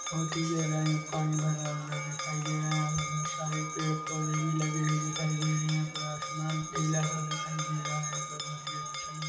बहोत ही गहराई में पानी भरा हुआ दिखाई दे रहा है बहुत सारे पेड़- पौधे लगे हुऐ दिखाई दे रहे है पूरा आसमान नीला सा दिखाई दे रहा है पर बहोत ही अच्छा लग--